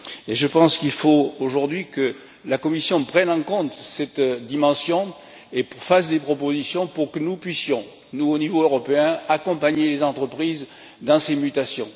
Je pense qu'il faut aujourd'hui que la Commission prenne en compte cette dimension et fasse des propositions pour que nous puissions, nous au niveau européen, accompagner les entreprises dans ces mutations.